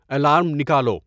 alarm نکالو